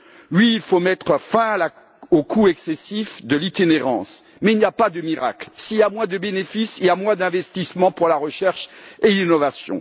Oui, il faut mettre fin au coût excessif de l'itinérance, mais il n'y a pas de miracle s'il y a moins de bénéfices, il y a moins d'investissement dans la recherche et l'innovation.